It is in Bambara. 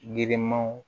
Girinmanw